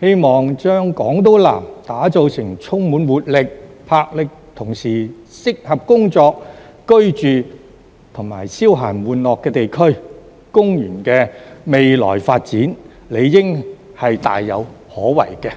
希望將港島南打造成充滿活力、魄力，同時適合工作、居住和消閒玩樂的地區，公園的未來發展理應是大有可為的。